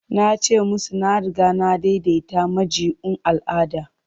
Na ce musu na riga na daidaita jami'un al'ada.